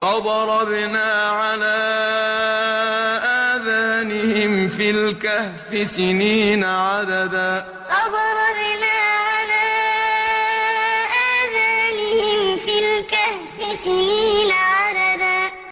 فَضَرَبْنَا عَلَىٰ آذَانِهِمْ فِي الْكَهْفِ سِنِينَ عَدَدًا فَضَرَبْنَا عَلَىٰ آذَانِهِمْ فِي الْكَهْفِ سِنِينَ عَدَدًا